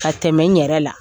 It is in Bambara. Ka tɛmɛ n yɛrɛ la.